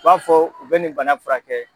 u b'a fɔ u bɛ nin bana furakɛ.